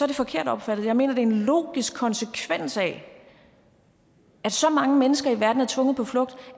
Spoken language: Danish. det forkert opfattet jeg mener det er en logisk konsekvens af at så mange mennesker i verden er tvunget på flugt